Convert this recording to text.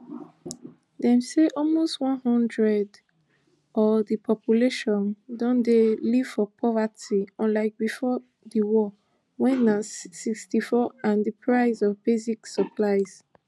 dem say almost one hundred o di population don dey live for poverty unlike bifor di war wen na sixty-four and di price of basic supplies